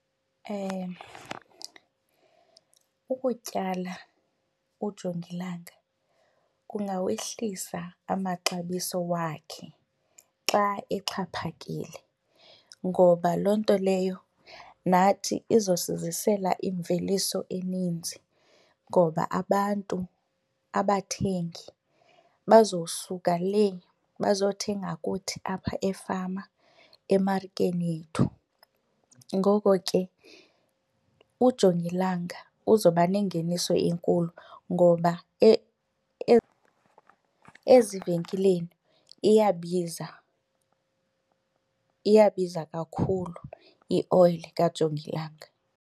Ukutyala ujongilanga kungawehlisa amaxabiso wakhe xa exhaphakile ngoba loo nto leyo nathi izosizisela imveliso eninzi ngoba abantu, abathengi, bazosuka lee bazothenga kuthi apha efama emarikeni ethu. Ngoko ke ujongilanga uzoba nengeniso enkulu ngoba ezivenkileni iyabiza, iyabiza kakhulu ioyile kajongilanga.